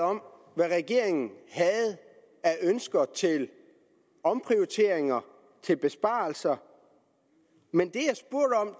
om hvad regeringen havde af ønsker til omprioriteringer og til besparelser men